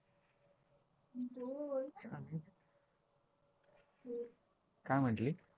काय म्हंटली?